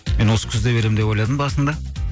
мен осы күзде беремін деп ойладым басында